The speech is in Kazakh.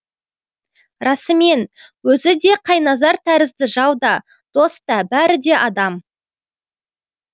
расымен өзі де қайназар тәрізді жау да дос та бәрі де адам